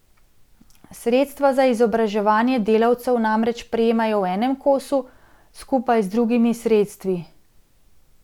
Sredstva za izobraževanje delavcev namreč prejemajo v enem kosu, skupaj z drugimi sredstvi.